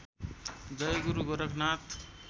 जय गुरु गोरखनाथ